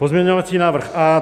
Pozměňovací návrh A.